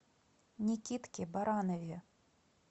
никитке баранове